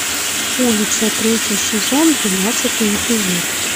улица третий сезон двенадцатый эпизод